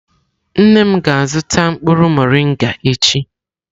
Nne m ga-azuta mkpuru morịngà echi.